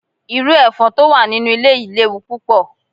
Iru efon to wa ninu ile yii lewu pupo